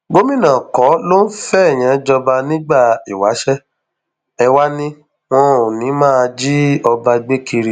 gomina kọ ló ń fẹẹyàn jọba nígbà ìwáṣẹ ẹ wàá ni wọn ò ní í máa jí ọba gbé kiri